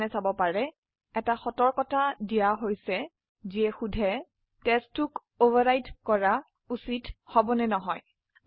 আপনি দেখতে একটি সতৰ্কবাৰ্তা দেওয়া হয়েছে যাতে জিজ্ঞাসা হচ্ছে ফাইল test2কে অভাৰৰাইট কৰা উচিত হবে কী হবে না